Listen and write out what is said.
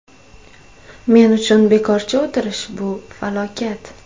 Men uchun bekorchi o‘tirish bu falokat.